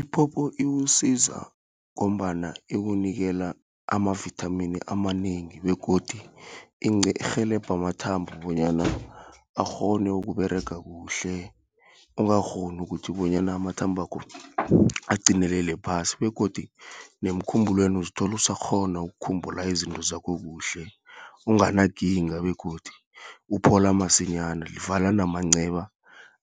Iphopho iwusiza ngombana ikunikela ama-vithamini amanengi, begodu irhelebha amathambo, bonyana akghone ukUberega kuhle. Ungakghoni ukuthi bonyana amathambakho aqinelele phasi, begodu nemkhumbulweni, uzithola asakghona ukukhumbula izinto zakho kuhle, onganakinga, begodi uphola masinyana. Livala namanceba